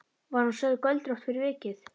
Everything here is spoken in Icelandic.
Var hún sögð göldrótt fyrir vikið.